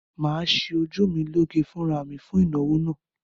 Mà á ṣe ojú mi lọ gé fúnra mi fún ìnáwó náà.